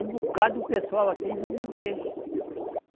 Um bocado o pessoal aqui vive do peixe.